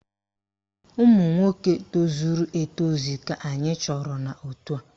Ụmụnwoke tozuru etozu ka anyị chọrọ n'òtù a